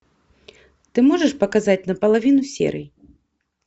ты можешь показать наполовину серый